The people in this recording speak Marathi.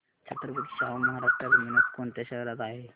छत्रपती शाहू महाराज टर्मिनस कोणत्या शहरात आहे